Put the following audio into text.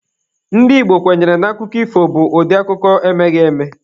Ndị Igbo kwenyere na akụkọ ifo bụ ụdị akụkọ emeghị eme.